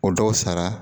O dɔw sara